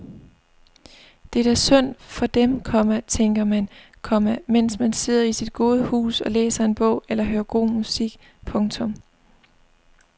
Det er da synd for dem, komma tænker man, komma mens man sidder i sit gode hus og læser en bog eller hører god musik. punktum